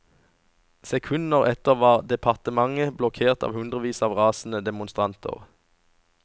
Sekunder etter var departementet blokkert av hundrevis av rasende demonstranter.